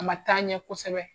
A man taa ɲɛ kosɛbɛ.